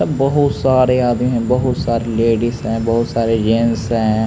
अ बहुत सारे आदमी हैं बहुत सारी लेडीज़ हैं बहुत सारे जेन्स हैं।